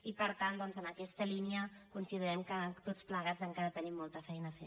i per tant doncs en aquesta línia considerem que tots plegats encara tenim molta feina a fer